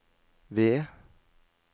ved